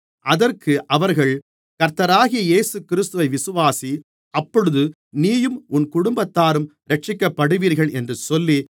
அதற்கு அவர்கள் கர்த்தராகிய இயேசுகிறிஸ்துவை விசுவாசி அப்பொழுது நீயும் உன் குடும்பத்தாரும் இரட்சிக்கப்படுவீர்கள் என்று சொல்லி